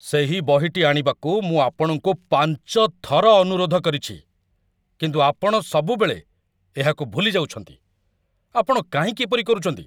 ସେହି ବହିଟି ଆଣିବାକୁ ମୁଁ ଆପଣଙ୍କୁ ପାଞ୍ଚ ଥର ଅନୁରୋଧ କରିଛି, କିନ୍ତୁ ଆପଣ ସବୁବେଳେ ଏହାକୁ ଭୁଲି ଯାଉଛନ୍ତି, ଆପଣ କାହିଁକି ଏପରି କରୁଛନ୍ତି?